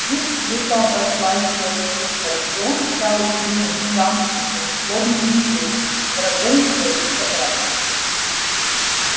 жизнь круто обошлась с белым клыком и он стал угрюмым замкнутым злобным зверем врагом своих собратьев